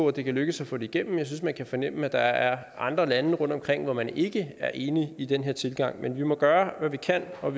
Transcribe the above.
at det kan lykkes at få det igennem for jeg synes man kan fornemme at der er andre lande rundtomkring hvor man ikke er enige i den her tilgang men vi må gøre hvad vi kan og